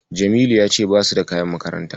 Jamilu ya ce basu da kayan makaranta.